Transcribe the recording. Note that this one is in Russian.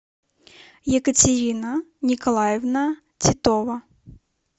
екатерина николаевна титова